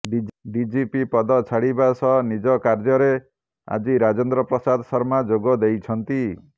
DGP ପଦ ଛାଡ଼ିବା ସହ ନିଜ କାର୍ଯ୍ୟ ରେ ଆଜି ରାଜେନ୍ଦ୍ର ପ୍ରସାଦ ଶର୍ମା ଯୋଗ ଦେଇଛନ୍ତି